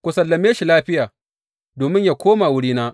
Ku sallame shi lafiya, domin yă koma wurina.